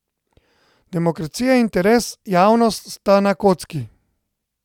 Demokracija in interes javnost sta na kocki.